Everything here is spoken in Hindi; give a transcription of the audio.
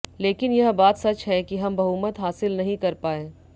लेकिन यह बात सच है कि हम बहुमत हासिल नहीं कर पाए